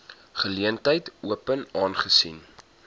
geleentheid open aangesien